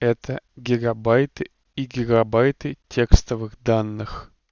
это гигабайты и гигабайты текстовых данных